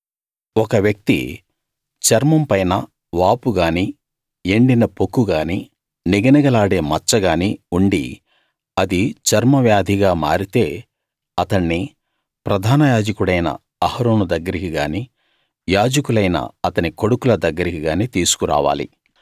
ఒక వ్యక్తి చర్మం పైన వాపు గానీ ఎండిన పొక్కు గానీ నిగనిగలాడే మచ్చ గానీ ఉండి అది చర్మ వ్యాధిగా మారితే అతణ్ణి ప్రధాన యాజకుడైన అహరోను దగ్గరికి గానీ యాజకులైన అతని కొడుకుల దగ్గరికి గానీ తీసుకు రావాలి